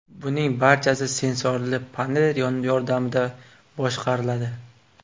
Buning barchasi sensorli panel yordamida boshqariladi.